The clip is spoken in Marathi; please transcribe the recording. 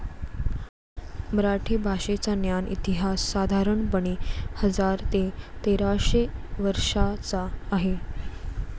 मराठी भाषेचा ज्ञात इतिहास साधारणपणे हजार ते तेराशे वर्षाचा आहे.